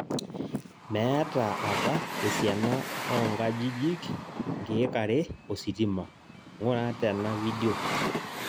Meeta apa esiana onkajijjik nkek are ositima, ng'ura tena video